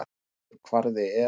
Lóðréttur kvarði er